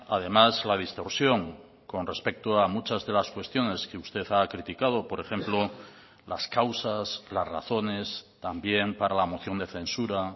además la distorsión con respecto a muchas de las cuestiones que usted ha criticado por ejemplo las causas las razones también para la moción de censura